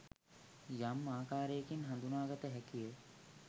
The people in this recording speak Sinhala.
යම් ආකාරයකින් හඳුනාගත හැකිය.